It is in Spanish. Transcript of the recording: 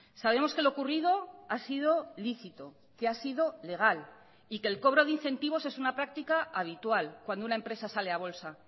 sabemos que lo ocurrido ha sido lícito que ha sido legal y que el cobro de incentivos es una práctica habitual cuando una empresa sale a bolsa